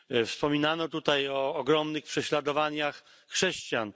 Wspominano tutaj o ogromnych prześladowaniach chrześcijan.